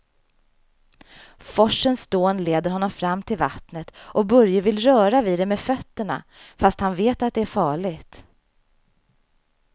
Forsens dån leder honom fram till vattnet och Börje vill röra vid det med fötterna, fast han vet att det är farligt.